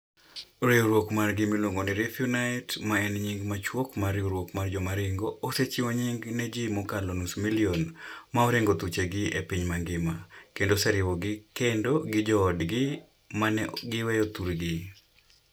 Riwruok margi miluongo ni REFUNITE, ma en nying machuok mar Riwruok mar Jowaringo, osechiwo nying' ne ji mokalo nus milion ma oringo thuchegi e piny mangima, kendo oseriwogi kendo gi joodgi ma ne giweyo thurgi.